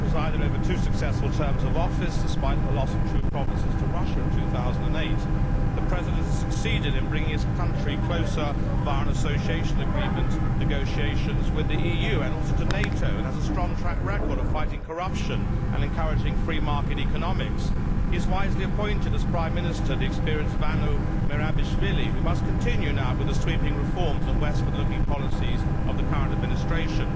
He has presided over two successful terms of office despite the loss of two provinces to Russia in 2008. The President has succeeded in bringing his country closer to the EU, via Association Agreement negotiations, and also to NATO, and he has a strong track record of fighting corruption and encouraging free market economics. He has wisely appointed as Prime Minister the experienced Vano Merabishvili, who must continue now with the sweeping reforms and westward looking policies of the current administration.